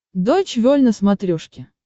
дойч вель на смотрешке